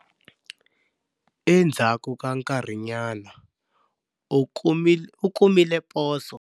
Endzhaku ka nkarinyana, u kumile poso.